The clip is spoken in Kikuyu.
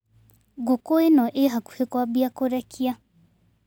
Ngũkũ ĩno ĩ hakuhĩ kwambia kũrekia.